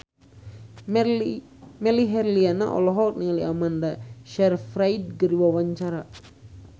Melly Herlina olohok ningali Amanda Sayfried keur diwawancara